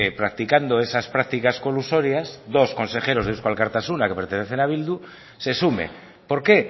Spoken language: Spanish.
practicando de esas prácticas colusorias dos consejeros de eusko alkartasuna que pertenecen a bildu se sume por qué